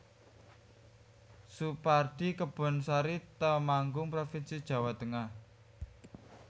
Soepardi Kebonsari Temanggung provinsi Jawa Tengah